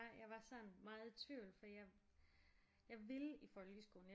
Jeg var sådan meget i tvivl for jeg jeg ville i folkeskolen